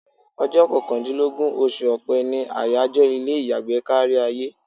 Ọjọ́ kọkàndínlógún oṣù Ọ̀pẹ ni àyájọ́ ilé ìyàgbẹ́ kárí ayé.